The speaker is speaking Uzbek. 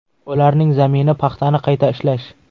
Ularning zamini paxtani qayta ishlash.